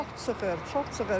Çox çıxır, çox çıxır.